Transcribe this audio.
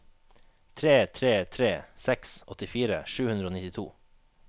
tre tre tre seks åttifire sju hundre og nittito